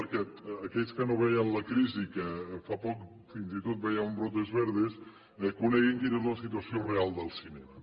perquè aquells que no veien la crisi que fa poc fins i tot veien brotes verdes coneguin quina és la situació real del cinema